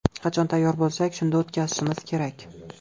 Qachon tayyor bo‘lsak, shunda o‘tkazishimiz kerak.